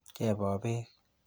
Kebo beek ?